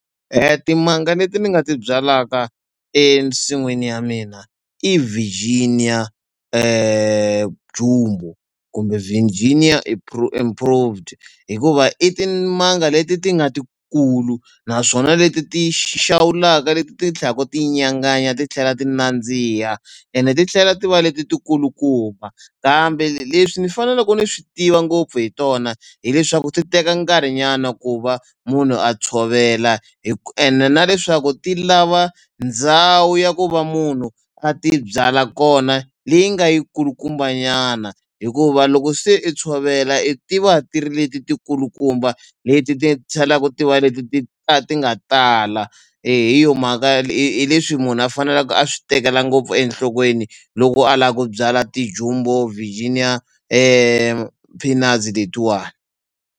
Timanga leti ni nga ti byalaka ensin'wini ya mina i virginia kumbe virginia improved hikuva i timanga leti ti nga ti kulu naswona leti ti xawulaka leti ti tlha ku ti nyanganya titlhela ti nandziha ene ti tlhela ti va leti ti kulukumba kambe leswi ni fanelaku ni swi tiva ngopfu hi tona hileswaku ti teka nkarhi nyana ku va munhu a tshovela ene na leswaku ti lava ndhawu ya ku va munhu a ti byala kona leyi nga yi kulukumba nyana hikuva loko se i tshovela i ti va tiri leti ti kulukumba leti ti tlhelaku ti va leti ti ti nga tala hi yo mhaka hi leswi munhu a fanelaka a swi tekela ngopfu enhlokweni loko a lava ku byala virginia peanuts letiwani.